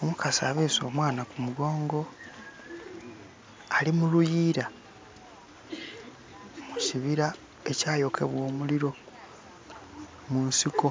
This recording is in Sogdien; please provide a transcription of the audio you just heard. Omukazi abeese omwaana ku kugongo ali mu luyiira mu kibiri ekyayokebwa omuliro, mu nsiko